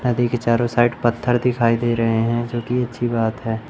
नदी के चारों साइड पत्थर दिखाई दे रहे हैं जो की अच्छी बात है।